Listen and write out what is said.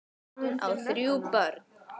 Hann á þrjú börn.